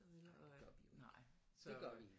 Nej det gør vi jo ikke det gør vi ikke